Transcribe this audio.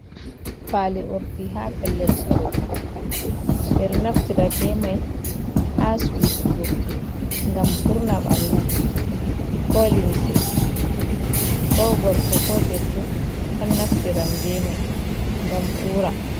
Fali urdi ha pellel sorugo, ɓeɗo naftira be mai ha susugo gam urna bandu ko limse, ko gorko ko debbo o naftiran be mai gam ura.